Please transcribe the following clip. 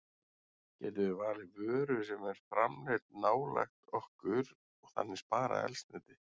Getum við valið vöru sem er framleidd nálægt okkur og þannig sparað eldsneyti?